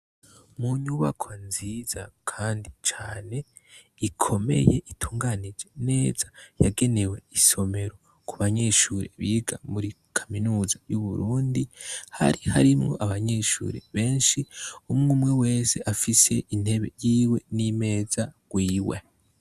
Mu nyubakwa nziza kandi cane ikomeye itunganije neza yagenewe isomero ku banyeshuri biga muri kaminuza yu Burundi hari harimwo abanyeshuri benshi umwe umwe wese afise intebe yiwe n'imeza rwiwe.